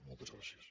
moltes gràcies